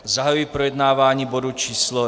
Zahajuji projednávání bodu číslo